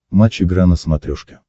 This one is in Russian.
матч игра на смотрешке